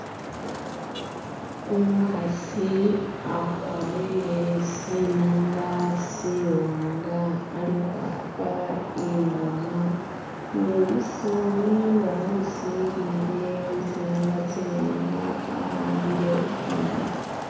umuhasi akwarire tsinanga tsiwanga ali hwapa ingoma ne umusani wamusilile ni tsinanga tsiwanga awambile ingoma